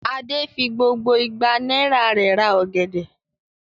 Adé fi gbogbo igba náírà rẹ̀ ra ọ̀gẹ̀dẹ̀?